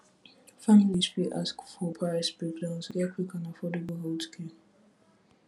families fit ask for price breakdown to get quick and affordable healthcare